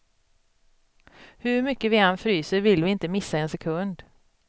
Hur mycket vi än fryser vill vi inte missa en sekund.